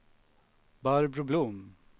Barbro Blom